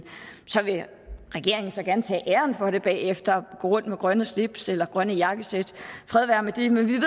regeringen vil så gerne tage æren for det bagefter og gå rundt med grønne slips eller grønne jakkesæt fred være med det men vi